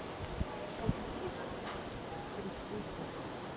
Þaðan fór hún síðan út til Svíþjóðar.